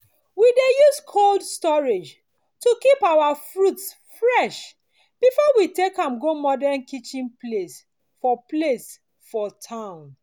we dey use cold storage to keep our fruits fresh before we take am to modern kitchen place for place for town